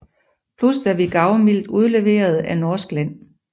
Plus hvad vi gavmildt udleverede af norsk land